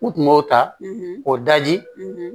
U tun b'o ta k'o daji